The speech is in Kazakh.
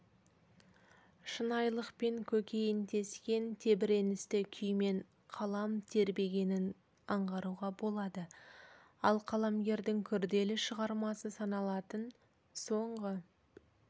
шынайылықпен көкейін тескен тебіреністі күймен қалам тербегенін аңғаруға болады ал қаламгердің күрделі шығармасы саналатын соңғы